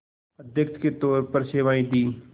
अध्यक्ष के तौर पर सेवाएं दीं